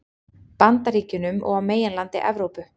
Bandaríkjunum og á meginlandi Evrópu.